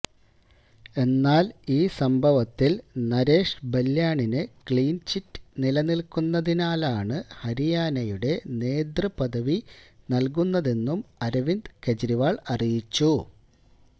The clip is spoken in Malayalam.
എന്നാല് ഈ സംഭവത്തില് നരേഷ് ബല്യാണിനു ക്ലീന്ചിറ്റ് നിലനില്ക്കുന്നതിനാലാണ് ഹരിയാനയുടെ നേതൃപദവി നല്കുന്നതെന്നും അരവിന്ദ് കേജ്രിവാള് അറിയിച്ചു